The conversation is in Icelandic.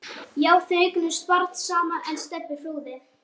Já, þau eignuðust barn saman, en Stebbi flúði.